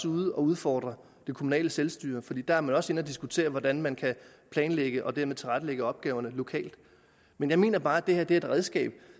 ude at udfordre det kommunale selvstyre for der er man også inde at diskutere hvordan man kan planlægge og dermed tilrettelægge opgaverne lokalt men jeg mener bare at det her er et redskab